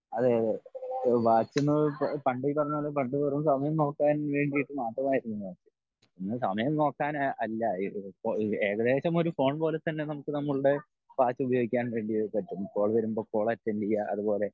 അതെയതെ വാച്ച് ന്ന് പണ്ട് ഈ പറഞ്ഞപോലെ പണ്ട് വെറും സമയം നോക്കാൻ വേണ്ടിട്ട് മാത്രം ആയിരുന്നു വാച്ച്. ഇന്ന് സമയം നോക്കാൻ അല്ല ഏകദേശം ഒരു ഫോൺ പോലെ തന്നെ നമുക്ക് നമ്മളുടെ വാച്ച് ഉപയോഗിക്കാൻ വേണ്ടി പറ്റും കാൾ വരുമ്പോൾ കാൾ അറ്റൻഡ് ചെയ്യേ അതുപോലെ